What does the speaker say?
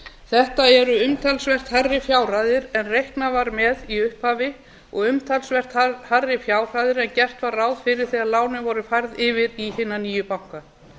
þetta eru umtalsvert hærri fjárhæðir en reiknað var með í upphafi og umtalsvert hærri fjárhæðir en gert var ráð fyrir þegar lánin voru færð yfir í sína nýju banka